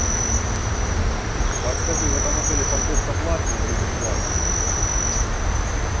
подскажи в этом отеле парковка платная или бесплатная